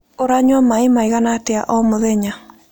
Ũranyua maĩ maigana atĩa o mũthenya?